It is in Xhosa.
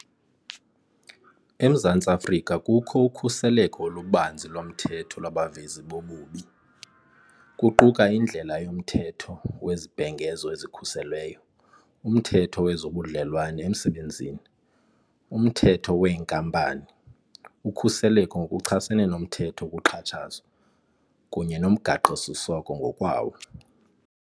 EMzantsi Afrika kukho ukhuseleko olubanzi lomthetho lwabavezi bobubi, kuquka indlela yoMthetho weZibhengezo eziKhuselweyo, uMthetho wezoBudlelwane eMsebenzini, uMthetho weeNkampani, uKhuseleko ngokuchasene noMthetho wokuXhatshazwa, kunye noMgaqosiseko ngokwawo.